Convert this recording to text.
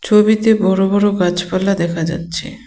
ছবিতে বড় বড় গাছপালা দেখা যাচ্ছে.